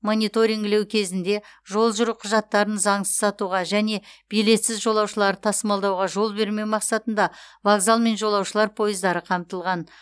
мониторингілеу кезінде жол жүру құжаттарын заңсыз сатуға және билетсіз жолаушыларды тасымалдауға жол бермеу мақсатында вокзал мен жолаушылар пойыздары қамтылған